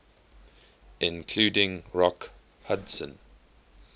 including rock hudson